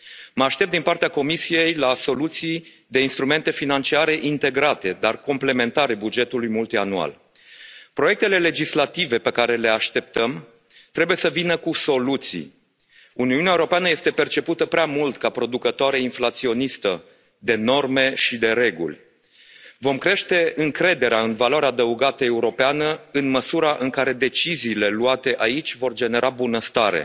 Mă aștept, din partea Comisiei, la soluții de instrumente financiare integrate, dar complementare bugetului multianual. Proiectele legislative pe care le așteptăm trebuie să vină cu soluții. Uniunea Europeană este percepută prea mult ca producătoare inflaționistă de norme și de reguli. Vom crește încrederea în valoarea adăugată europeană în măsura în care deciziile luate aici vor genera bunăstare,